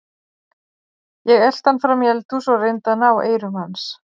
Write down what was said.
Ég elti hann fram í eldhús og reyndi að ná eyrum hans.